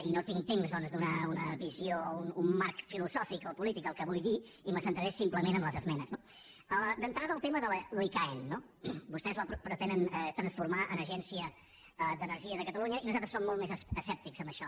i no tinc temps doncs de donar una visió un marc filosòfic o polític del que vull dir i me centraré simplement en les esmenes no d’entrada el tema de l’icaen no vostès el pretenen transformar en agència d’energia de catalunya i nosaltres som molt més escèptics en això